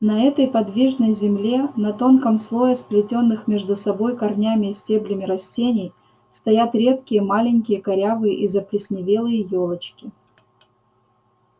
на этой подвижной земле на тонком слое сплетённых между собой корнями и стеблями растений стоят редкие маленькие корявые и заплесневелые ёлочки